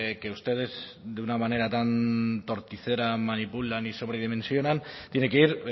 que ustedes de una manera tan torticera manipulan y sobredimensionan tiene que ir